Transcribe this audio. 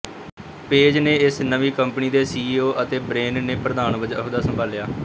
page ਨੇ ਇਸ ਨਵੀਂ ਕੰਪਨੀ ਦੇ ਸੀਈਓ ਅਤੇ ਬ੍ਰਿਨ ਨੇ ਪ੍ਰਧਾਨ ਵਜੋਂ ਅਹੁਦਾ ਸੰਭਾਲਿਆ